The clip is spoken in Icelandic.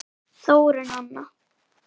Þórunn Anna.